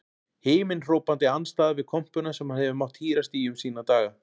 Himinhrópandi andstæða við kompuna sem hann hefur mátt hírast í um sína daga.